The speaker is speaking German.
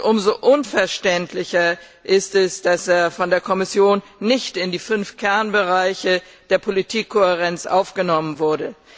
Umso unverständlicher ist es, dass er von der Kommission nicht in die fünf Kernbereiche der Politikkohärenz aufgenommen wurde.